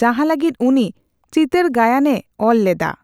ᱡᱟᱦᱟᱸ ᱞᱟᱹᱜᱤᱫ ᱩᱱᱤ ᱪᱤᱛᱟᱹᱨᱜᱟᱭᱟᱱ ᱮ ᱚᱞᱞᱮᱫᱟ᱾